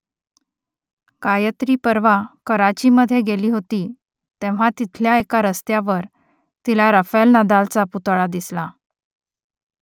गायत्री परवा कराचीमध्ये गेली होती तेव्हा तिथल्या एका रस्त्यावर तिला रफायेल नदालचा पुतळा दिसला